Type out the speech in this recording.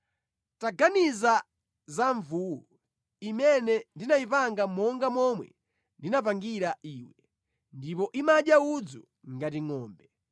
“Taganiza za mvuwu, imene ndinayipanga monga momwe ndinapangira iwe, ndipo imadya udzu ngati ngʼombe.